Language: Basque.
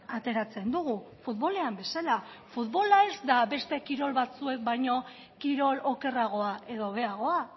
ateratzen dugu futbolean bezala futbola ez da beste kirol batzuek baino kirol okerragoa edo hobeagoa